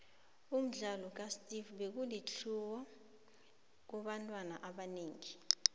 umdlalo ka steve biko ulitlhuwo kubantu abanengi